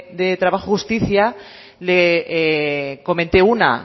de trabajo y justicia le comenté una